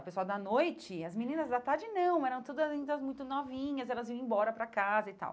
O pessoal da noite, as meninas da tarde não, eram todas ainda muito novinhas, elas iam embora para casa e tal.